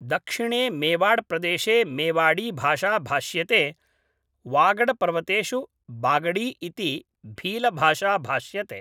दक्षिणे मेवाड़प्रदेशे मेवाडीभाषा भाष्यते वागडपर्वतेषु बागडी इति भीलभाषा भाष्यते